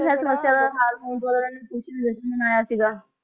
ਸਮੱਸਿਆ ਦਾ ਹੱਲ ਹੋਣ ਤੇ ਜਸ਼ਨ ਮਨਾਇਆ ਸੀ ਗਾ